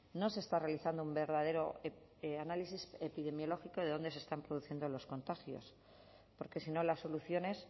no se está realizando un verdadero análisis epidemiológico de dónde se están produciendo los contagios porque si no las soluciones